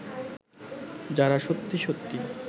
যাঁরা সত্যি সত্যি